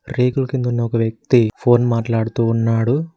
రేకులు కింద ఉన్న ఒక వ్యక్తి ఫోన్ మాట్లాడుతూ ఉన్నాడు